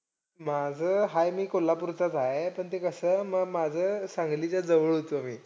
माझं हाय मी कोल्हापूरचाचं हाय. पण ते कसं म माझं सांगलीच्या जवळ होतो मी.